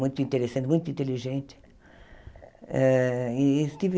Muito interessante, muito inteligente. Eh e tive